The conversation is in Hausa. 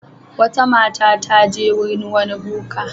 Wata mata ta je wurin wani boka.